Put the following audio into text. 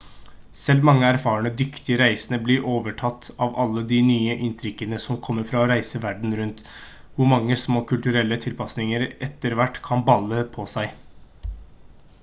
selv mange erfarne dyktige reisende blir overtatt av alle de nye inntrykkene som kommer fra å reise verden rundt hvor mange små kulturelle tilpasninger etter hvert kan balle på seg